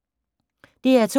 DR2